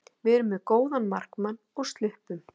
Við erum með góðan markmann og sluppum.